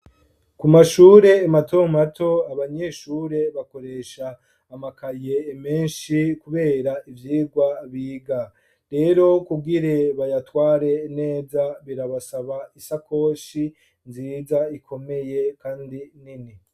Ku mashure mato mato abanyeshure bakoresha amakaye menshi kubera ivyigwa biga. Rero kugire bayatware neza birabasaba isakoshi nziza ikomeye kandi nini.